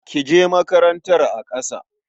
Ka je makarantar a ƙasa.